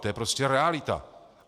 To je prostě realita.